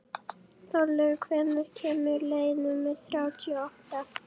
Þorlaug, hvenær kemur leið númer þrjátíu og átta?